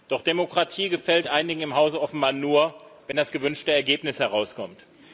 Doch Demokratie gefällt einigen im Hause offenbar nur, wenn das gewünschte Ergebnis herauskommt.